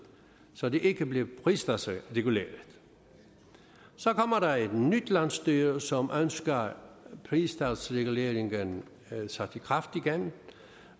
så det ikke blev pristalsreguleret så kommer der et nyt landsstyre som ønsker pristalsreguleringen sat i kraft igen